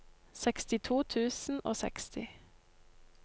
sekstito tusen og seksti